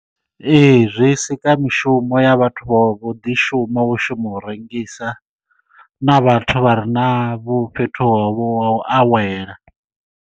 Ee zwi sika mishumo ya vhathu vho vho ḓi shuma vho shuma u rengisa na vhathu vha re na vho fhethu ho vho ha u awela.